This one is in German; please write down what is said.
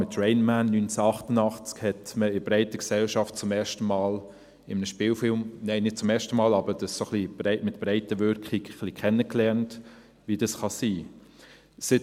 Mit «Rain Man», 1988, hat man in der breiten Gesellschaft zum ersten Mal in einem Spielfilm – nein, nicht zum ersten Mal, aber ein wenig mit Breitenwirkung – ein wenig kennengelernt, wie das sein kann.